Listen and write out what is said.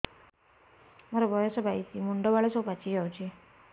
ମୋର ବୟସ ବାଇଶି ମୁଣ୍ଡ ବାଳ ସବୁ ପାଛି ଯାଉଛି